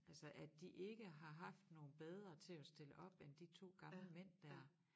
Altså at de ikke har haft nogen bedre til at stille op end de 2 gamle mænd dér